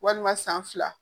Walima san fila